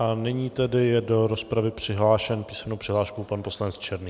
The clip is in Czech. A nyní tedy je do rozpravy přihlášen písemnou přihláškou pan poslanec Černý.